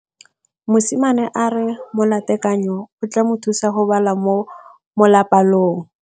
Mosimane a re molatekanyô o tla mo thusa go bala mo molapalong.